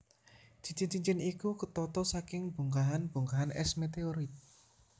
Cincin cincin iku ketata saking bongkahan bongkahan es meteorit